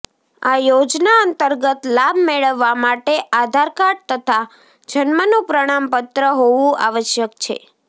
આ યોજના અંતર્ગત લાભ મેળવવા માટે આધારકાર્ડ તથા જન્મ નુ પ્રમાણપત્ર હોવુ આવશ્યક છે